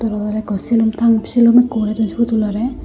eyan oloda selum tang selum ekkho oray don say potul lo ra.